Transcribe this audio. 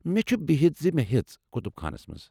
مےٚ چُھ بِہِتھ زِ مےٚ ہیژ، كُتُب خانس منٛز۔